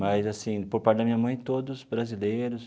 Mas, assim, por parte da minha mãe, todos brasileiros.